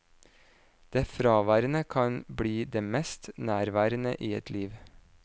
Det fraværende kan bli det mest nærværende i et liv.